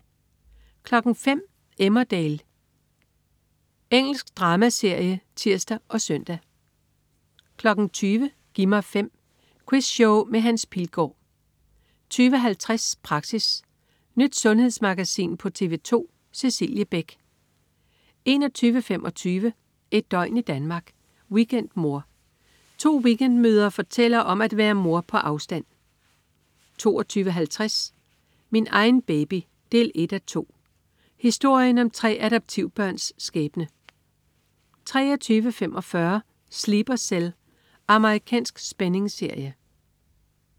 05.00 Emmerdale. Engelsk dramaserie (tirs og søn) 20.00 Gi' mig 5. Quizshow med Hans Pilgaard 20.50 Praxis. Nyt sundhedsmagasin på TV 2. Cecilie Beck 21.25 Et døgn i Danmark. Weekendmor. To weekendmødre fortæller om at være mor på afstand 22.50 Min egen baby 1:2. Historien om tre adoptivbørns skæbne 23.45 Sleeper Cell. Amerikansk spændingsserie